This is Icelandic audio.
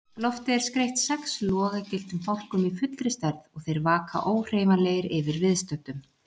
Loftið er skreytt sex logagylltum fálkum í fullri stærð og þeir vaka óhreyfanlegir yfir viðstöddum.